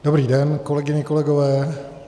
Dobrý den, kolegyně, kolegové.